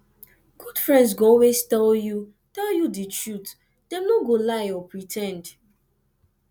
good friends go always tell you tell you de truth dem no go lie or pre ten d